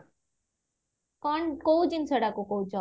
କଣ କୋଉ ଜିନିଷଟା କୁ କହୁଚ